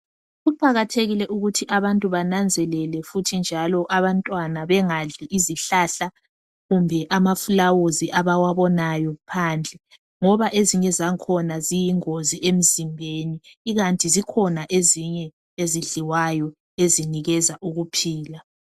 Kuqakathekile ukuthi abantu bananzelele futhi njalo abantwana bengadli izihlahla kumbe amaflawuzi abawabonayo phandle ngoba ezinye zangkhona ziyingozi emzimbeni ikanti zikhona ezinye ezidliwayo ezinikeza ukuphila.